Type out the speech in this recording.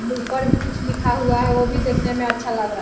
मुँह पर भी कुछ लिखा हुआ है वो भी दिखने में अच्छा लग रहा है ।